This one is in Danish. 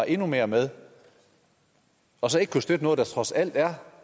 endnu mere med og så ikke kunne støtte noget der trods alt er